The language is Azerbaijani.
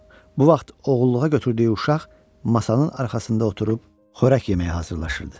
Bu vaxt oğulluğa götürdüyü uşaq masanın arxasında oturub xörək yeməyə hazırlaşırdı.